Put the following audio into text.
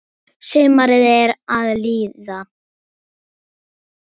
Sumarið er að líða.